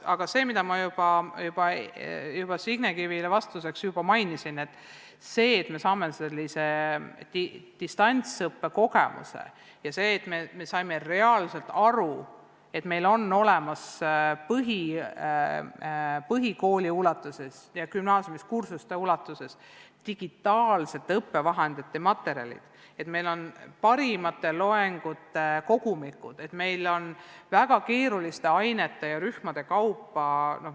Kordan seda, mida ma juba Signe Kivile vastates ütlesin, et me oleme saanud distantsõppe kogemuse ja me oleme saanud reaalselt aru, et meil on põhikooli ja gümnaasiumi ulatuses olemas digitaalsed õppevahendid, meil on parimate loengute kogumikud, väga keeruliste ainete ja rühmade kaupa.